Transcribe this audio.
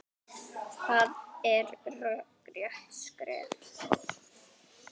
Það er rökrétt skref.